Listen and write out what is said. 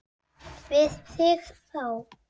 Gunnar Atli: Við þig þá?